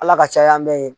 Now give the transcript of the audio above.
Ala ka caya an bɛ yen